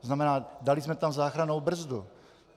To znamená, dali jsme tam záchrannou brzdu.